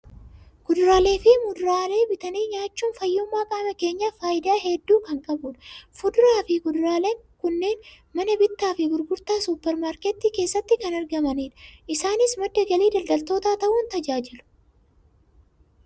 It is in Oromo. Kuduraalee fi muduraalee bitanii nyaachuun fayyummaa qaama keenyaaf faayidaa hedduu kan qabudha. Fuduraa fi kuduraaleen kunneen mana bittaa fi gurgurtaa suupper maarketii keessatti kan argamanidha. Isaanis madda galii daldaltootaa ta'uun tajaajilu.